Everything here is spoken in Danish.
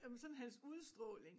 Jamen sådan hans udstråling